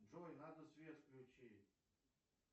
джой надо свет включить